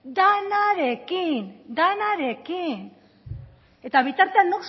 denarekin denarekin eta bitartean